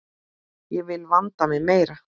Ég vil vanda mig meira.